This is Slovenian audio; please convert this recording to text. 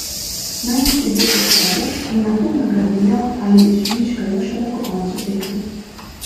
Naj nas ljudje podprejo in nato nagradijo ali izžvižgajo šele po koncu tekme.